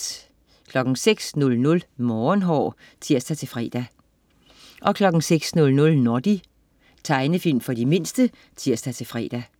06.00 Morgenhår (tirs-fre) 06.00 Noddy. Tegnefilm for de mindste (tirs-fre)